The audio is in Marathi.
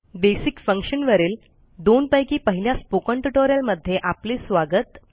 बेसिक Functionवरील दोन पैकी पहिल्या स्पोकन ट्युटोरियलमध्ये आपले स्वागत